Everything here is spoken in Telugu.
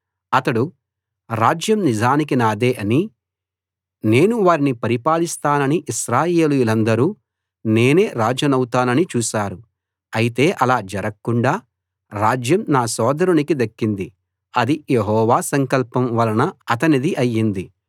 అతడు రాజ్యం నిజానికి నాదే అనీ నేను వారిని పరిపాలిస్తాననీ ఇశ్రాయేలీయులందరూ నేనే రాజునౌతానని చూశారు అయితే అలా జరక్కుండా రాజ్యం నా సోదరునికి దక్కింది అది యెహోవా సంకల్పం వలన అతనిది అయింది